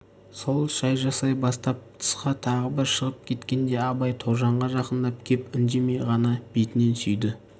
сол шай жасай бастап тысқа тағы бір шығып кеткенде абай тоғжанға жақындап кеп үндемей ғана бетінен сүйді